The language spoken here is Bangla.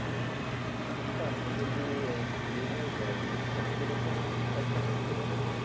আচ্ছা আমি যদি আহ plane এ যাই তো কেরকম খরচা পড়তে পারে?